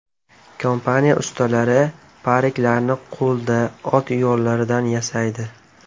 Kompaniya ustalari pariklarni qo‘lda, ot yollaridan yasaydi.